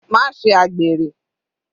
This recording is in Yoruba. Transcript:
Má ṣe àgbèrè.